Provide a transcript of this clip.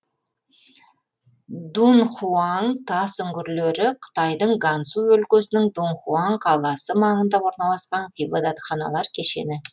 дунхуаң тас үңгірлері қытайдың гансу өлкесінің дунхуаң қаласы маңында орналасқан ғибадатханалар кешені